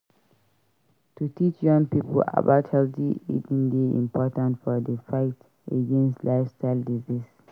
To teach young pipo about healthy eating dey important for di fight against lifestyle diseases.